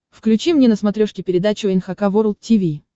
включи мне на смотрешке передачу эн эйч кей волд ти ви